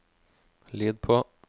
lyd på